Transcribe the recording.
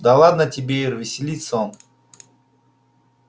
да ладно тебе ир веселится он